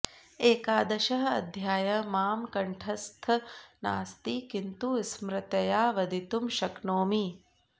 एकादशः अध्यायः मां कण्ठस्थः नास्ति किन्तु स्मृत्याः वदितुं शक्नोमि